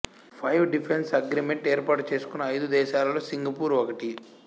five defence agreement ఏర్పాటు చేసుకున్న అయిదు దేశాలలో సింగపూరు ఒకటి